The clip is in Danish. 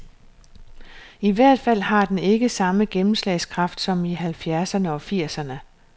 I hvert fald har den ikke samme gennemslagskraft som i halvfjerdserne og firserne.